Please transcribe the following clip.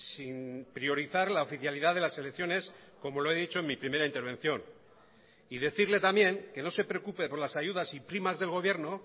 sin priorizar la oficialidad de las selecciones como lo he dicho en mi primera intervención y decirle también que no se preocupe por las ayudas y primas del gobierno